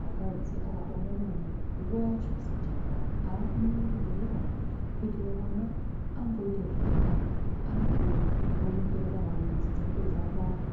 mukadzi akabara mwana nguwa yake isati yakawanda abudimo muzvibhedhleramwo kusvikira mwana amboita zviri nane akuonekera kana mwedzi dzake dzakwana.